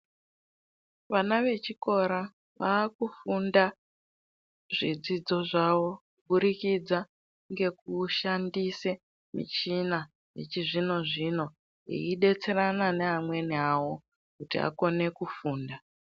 Vana vechikora vakufunda zvidzidzo zvavo kuburikidza ngekushandisa michina yechizvino-zvino veidetserana neamweni vavo kuti akone kufunda.